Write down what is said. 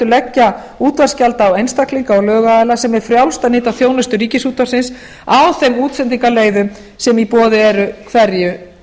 leggja útvarpsgjald á einstaklinga og lögaðila sem er frjálst að nýta þjónustu ríkisútvarpsins á þeim útsendingarleyfum sem í boði eru hverju